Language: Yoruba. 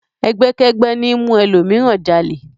Ẹgbẹ́kẹ́gbẹ́ ní ń mú ẹlòmíràn jalè.